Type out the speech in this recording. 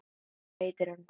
Hvað heitir hún?